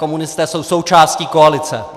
Komunisté jsou součástí koalice.